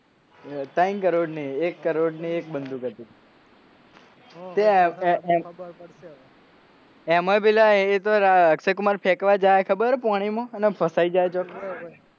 ત્રણ કરોડની એક કરોડની એક બંધુક હત હા હવે ખબર પડશે એમોય પેલો અક્ષય કુમાર ફેકવા જાય હે ખબર હે પોણીમો અને ફસાઈ જાય હે ચો,